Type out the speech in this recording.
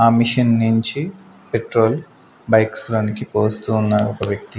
ఆ మిషన్ నించి petrol bikes లోనికి పోస్తూ ఉన్నాడు ఒక వ్యక్తి.